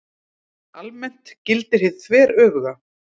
Almennt gildir hið þveröfuga.